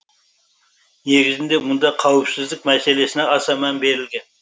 негізінде мұнда қауіпсіздік мәселесіна аса мән берілген